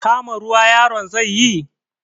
Kama ruwa yaron zai yi?